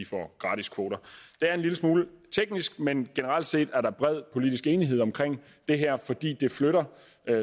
får gratis kvoter det er en lille smule teknisk men generelt set er der bred politisk enighed om det her fordi det flytter